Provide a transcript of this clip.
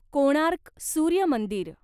कोणार्क सूर्य मंदिर